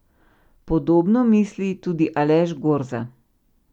Podobno misli tudi Aleš Gorza.